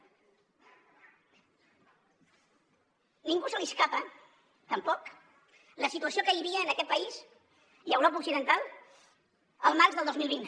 a ningú se li escapa tampoc la situació que hi havia en aquest país i a europa occidental el març del dos mil vint